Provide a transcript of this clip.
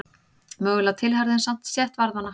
Mögulega tilheyrði hann samt stétt varðmanna.